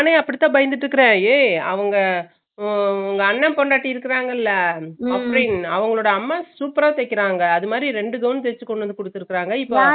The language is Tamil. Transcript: நானே அப்புடித்தான் பயந்துட்டு இருக்கான் ஏய் அவுங்க உ உங்க அண்ணன் பொண்டாட்டி இருக்காறங்கள ஆபிரின் அவுங்களோட அம்மா super அ தெக்கிறாங்க அது மாறி ரெண்டு gown தெச்சு கொண்டுவந்து குடுத்துருக்காங்க இப்ப